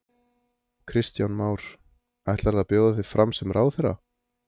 Kristján Már: Ætlarðu að bjóða þig fram sem ráðherra?